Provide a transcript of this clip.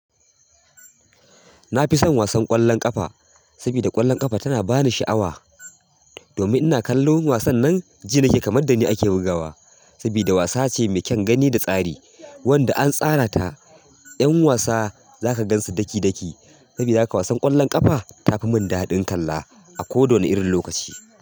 Na fi son wasan ƙwallon ƙafa saboda ƙwallon ƙafa tana ba ni sha'awa. Domin ina kallon wasan nan, ji nake kamar da ni ake bugawa saboda wasa ce mai kyan gani da tsari wanda an tsara ta. 'Yan wasa za ka gansu daki-daki saboda haka wasan ƙwallon ƙafa ta fi mun daɗin kalla a ko da wani irin lokaci.